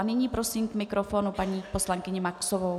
A nyní prosím k mikrofonu paní poslankyni Maxovou.